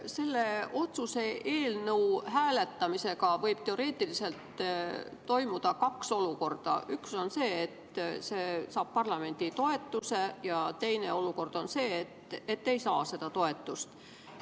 Selle otsuse eelnõu hääletamisega võib teoreetiliselt tekkida kaks olukorda: üks on see, et see saab parlamendi toetuse, ja teine olukord on see, et see ei saa seda toetust.